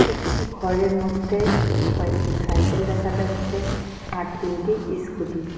একটি ঘরের মধ্যে কয়েকটি সাইকেল দেখা যাচ্ছে আর তিনটি ইস্কুটি ।